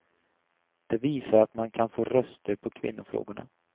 Det visar att man kan få röster på kvinnofrågorna.